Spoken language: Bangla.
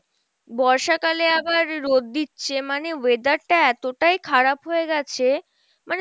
বর্ষা কালে আবার রোদ দিচ্ছে মানে weather টা এতটাই খারাপ হয়ে গেছে মানে